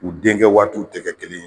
U denkɛ waatiw tɛ kɛ kelen ye.